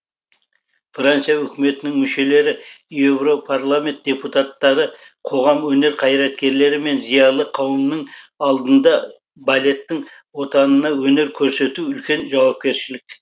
франция үкіметінің мүшелері европарламент депутаттары қоғам өнер қайраткерлері мен зиялы қауымның алдында балеттің отанына өнер көрсету үлкен жауапкершілік